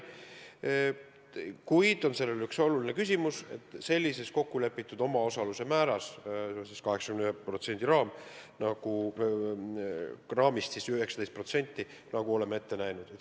Kuid üks oluline küsimus on siin kokkulepitud omaosaluse määras 19%, nagu oleme ette näinud.